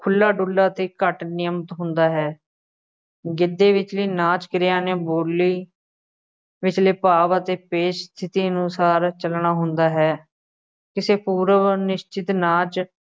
ਖੁੱਲ੍ਹਾ ਡੁੱਲ੍ਹਾ ਅਤੇ ਘੱਟ ਹੁੰਦਾ ਹੈ, ਗਿੱਧੇ ਵਿੱਚ ਵੀ ਨਾਚ ਕਿਰਿਆ ਨੇ ਬੋਲੀ ਵਿਚਲੇ ਭਾਵ ਅਤੇ ਪੇਸ਼ ਕੀਤੇ ਅਨੁਸਾਰ ਚੱਲਣਾ ਹੁੰਦਾ ਹੈ, ਕਿਸੇ ਪੂਰਵ ਨਿਸ਼ਚਿਤ ਨਾਚ